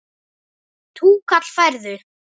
Túkall færðu!